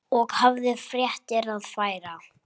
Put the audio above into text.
Og hafði fréttir að færa.